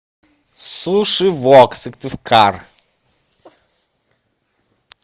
суши вок сыктывкар